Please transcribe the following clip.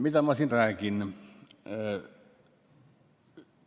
Mida ma siin räägin?